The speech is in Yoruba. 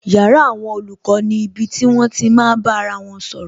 Yàrá àwọn olùkọ́ ni ibi tí wón ti máa bá ara wọn sọ̀rọ̀